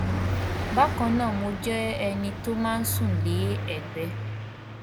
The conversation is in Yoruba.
bákan náà mo jẹ ẹni tó máa ń sùn lé ẹgbé